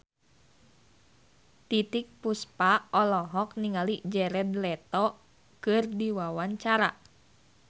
Titiek Puspa olohok ningali Jared Leto keur diwawancara